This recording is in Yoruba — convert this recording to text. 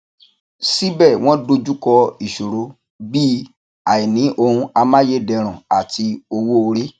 síbẹ wọn dojú kọ ìṣòro bíi àìní ohun amáyédẹrùn àti owó orí